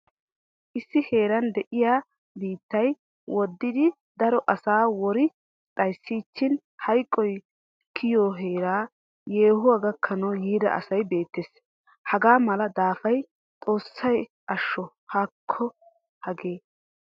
Issi heeran de'iyaa biittay woddidi daro asaa wori xayssiichin hayqqoy kiyo heeraa yehuwaa gakkanawu yiida asay beettees. Hagaa mala daafaappe xoossay asho haakko hagee!!